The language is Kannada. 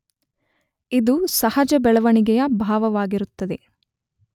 ಇದು ಸಹಜ ಬೆಳವಣಿಗೆಯ ಭಾಗವಾಗಿರುತ್ತದೆ.